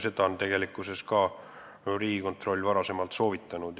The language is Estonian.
Seda on ka Riigikontroll varem soovitanud.